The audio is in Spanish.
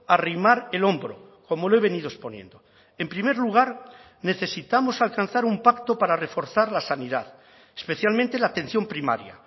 a arrimar el hombro como lo he venido exponiendo en primer lugar necesitamos alcanzar un pacto para reforzar la sanidad especialmente la atención primaria